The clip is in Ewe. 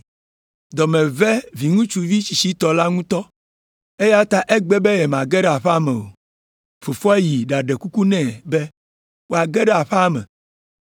“Dɔ me ve viŋutsuvi tsitsitɔ la ŋutɔ, eya ta egbe be yemage ɖe aƒea me o. Fofoa yi ɖaɖe kuku nɛ be wòage ɖe aƒea me.